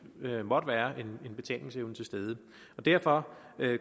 måtte være en betalingsevne til stede derfor